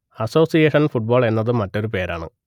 association football എന്നതും മറ്റൊരു പേരാണ്